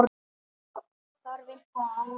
Þarf eitthvað annað?